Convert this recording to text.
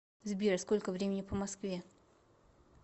сбер сколько времени по москве